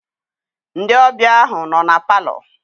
Ndị ọbịa ahụ nọ na palọ.